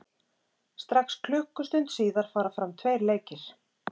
Strax klukkustund síðar fara fram tveir leikir.